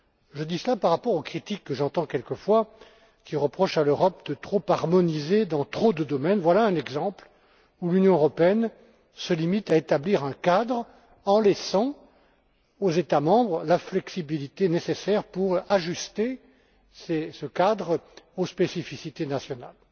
Je dis cela par rapport aux critiques que j'entends quelquefois et au fait que l'on reproche à l'Europe de trop harmoniser dans trop de domaines. Voilà donc un exemple où l'Union européenne se limite à établir un cadre, en laissant aux États membres la flexibilité nécessaire pour l'ajuster aux spécificités nationales.